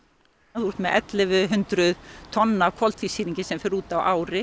þú ert með ellefu hundruð tonn af koltvísýringi sem fer út á ári